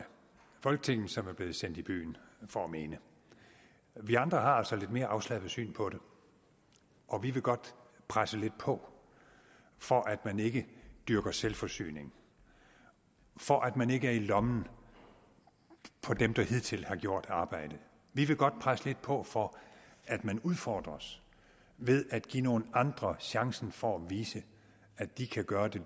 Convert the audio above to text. folketinget som er blevet sendt i byen for at mene vi andre har altså et lidt mere afslappet syn på det og vi vil godt presse lidt på for at man ikke dyrker selvforsyning for at man ikke er i lommen på dem der hidtil har gjort arbejdet vi vil godt presse lidt på for at man udfordres ved at give nogle andre chancen for at vise at de kan gøre det